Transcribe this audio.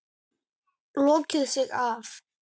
Lokaði sig af.